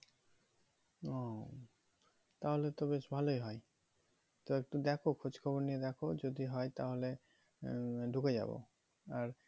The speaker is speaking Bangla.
ও তাহলে তো বেশ ভালোই হয়ে তো একটু দেখো খোঁজ খবর নিয়ে দেখো যদি হয়ে তাহলে আহ ঢুকে যাবো আর